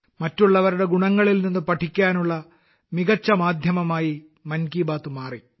മറ്റുള്ളവരുടെ ഗുണങ്ങളിൽ നിന്ന് പഠിക്കാനുള്ള മികച്ച മാധ്യമമായി മൻ കി ബാത്ത് മാറി